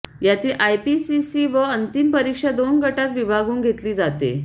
यातील आयपीसीसी व अंतिम परीक्षा दोन गटांत विभागून घेतली जाते